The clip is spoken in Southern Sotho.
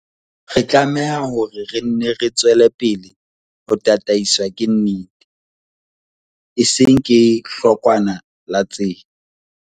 Re tlameha hore re nne re tswele pele ho tataiswa ke nnete, e seng ke hlokwana la tsela.